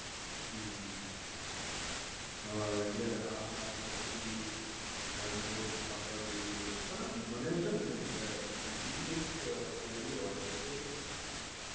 હમ્મ હા એટલે આ આ વસ્તુ ભી જાણ જે આપવા જેવી તો છે અને મને છે ને બીજુ ભી એક query હોય છે કે